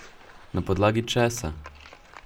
Na podlagi česa?